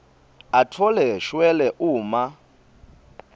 atfole shwele uma